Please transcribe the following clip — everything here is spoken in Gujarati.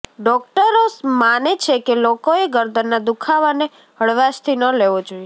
ડોકટરો માને છે કે લોકોએ ગરદનના દુખાવાને હળવાશથી ન લેવો જોઇએ